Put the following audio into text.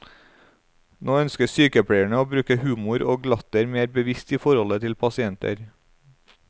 Nå ønsker sykepleierne å bruke humor og latter mer bevisst i forholdet til pasienter.